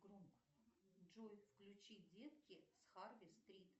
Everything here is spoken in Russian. джой включи детки с харви стрит